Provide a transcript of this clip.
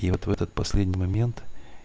и вот в этот последний момент